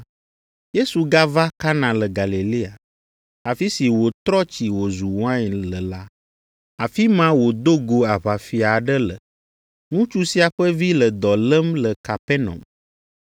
Yesu gava Kana le Galilea, afi si wòtrɔ tsi wòzu wain le la. Afi ma wòdo go aʋafia aɖe le. Ŋutsu sia ƒe vi le dɔ lém le Kapernaum.